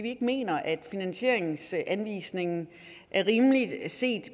ikke mener at finansieringsanvisningen er rimelig set